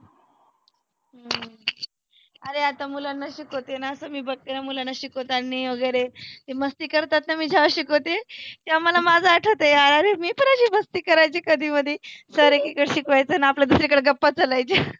आरे आतामुलांना शिकवतेना असं मी बघते त्या मुलांना शिकवतांनी वगैरे. ते मस्ती करत असतात मी ज्यावेळेस शिकवते तेव्हा मला माझ आठवत यार आरे मी पण मस्ती करायचे कधी मधी. sir एकिकडे शिकवायचे आणि आपल्या दुसरीकडे गप्पा चालायच्या .